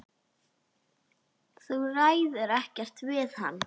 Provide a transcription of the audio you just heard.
Þú ræður ekkert við hann.